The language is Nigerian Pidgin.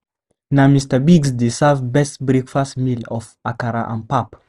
Na Mr. Biggs dey serve best breakfast meal of akara and pap.